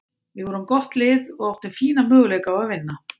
Við vorum gott lið og áttum fína möguleika á að vinna.